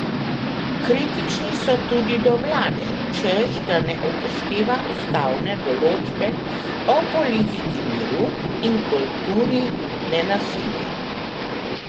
Kritični so tudi do vlade, češ da ne upošteva ustavne določbe o politiki miru in kulturi nenasilja.